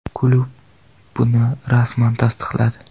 Klub buni rasman tasdiqladi.